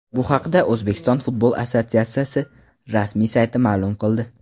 Bu haqda O‘zbekiston futbol assotsiatsiyasi rasmiy sayti ma’lum qildi .